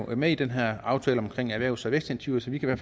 er med i den her aftale om erhvervs og vækstinitiativer